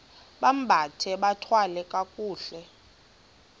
bambathe bathwale kakuhle